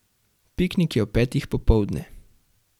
Piknik je ob petih popoldne.